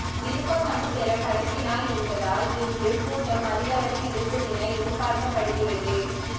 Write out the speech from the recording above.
விருப்பமனு பெற கடைசி நாள் என்பதால் இன்று கூட்டம் அதிகளவில் இருக்கும் என எதிர்பார்க்கப்படுகிறது